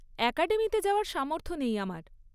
অ্যাকাডেমিতে যাওয়ার সামর্থ্য নেই আমার।